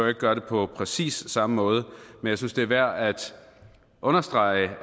at gøre det på præcis samme måde men jeg synes det er værd at understrege